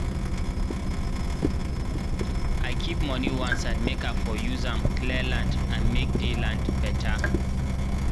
i keep moni oneside make i for use amd clear land and make dey land beta